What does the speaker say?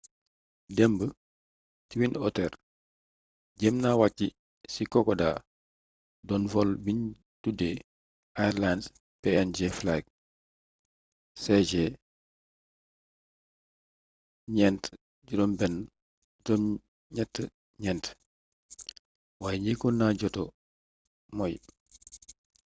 démb twin otter jéem na wàcci ci kokoda doon vol biñ tudee airlines png flight cg4684 waaye njëkkoon na jota moy